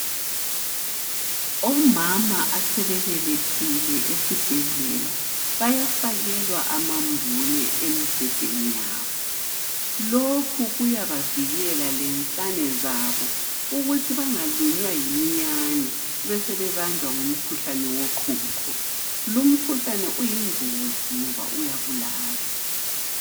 Omama asebebelethile esibhedlela bayafakelwa amambule embhedeni yabo. Lokhu kuyabavikela lensane zabo ukuthi bangalunywa yiminyane besebebanjwa ngumkhuhlane woqhuqho. Lumkhuhlane uyingozi ngoba uyabulala.